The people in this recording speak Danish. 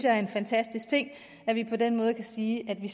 er en fantastisk ting at vi på den måde kan sige at vi